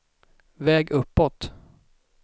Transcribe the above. väg uppåt